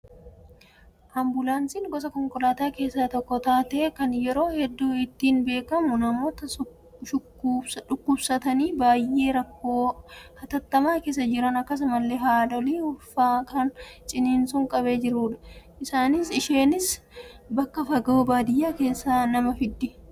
Ambulaansiin gosa konkolaataa keessaa tokko taatee kan yeroo hedduu ittiin beekamu namoota shukkubsatanii baay'ee rakkoo hatattamaa keessa jiran akkasumas haadholii ulfaa kan ciniinsuun qabee jirudha. Isheenis bakka fagoo baadiyyaa keessaa nama fiddi